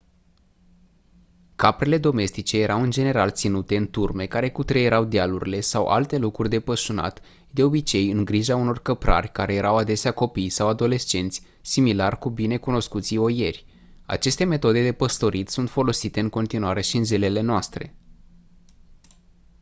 caprele domestice erau în general ținute în turme care cutreierau dealurile sau alte locuri de pășunat de obicei în grija unor căprari care erau adesea copii sau adolescenți similar cu bine cunoscuții oieri aceste metode de păstorit sunt folosite în continuare și în zilele noastre